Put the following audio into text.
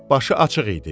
Başı açıq idi.